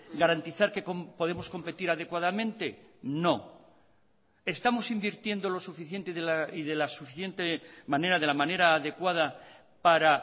garantizar que podemos competir adecuadamente no estamos invirtiendo lo suficiente y de la suficiente manera de la manera adecuada para